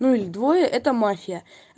ну или двое это мафия